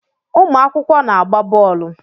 Ụmụakwụkwọ na-agba boolu